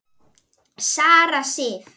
Sara Sif.